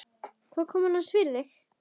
Hvað kom annars fyrir þig?